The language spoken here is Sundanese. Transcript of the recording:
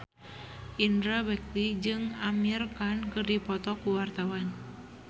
Indra Bekti jeung Amir Khan keur dipoto ku wartawan